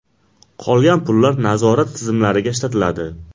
Qolgan pullar nazorat tizimlariga ishlatiladi.